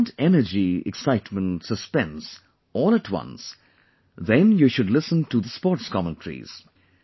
If you want energy, excitement, suspense all at once, then you should listen to the sports commentaries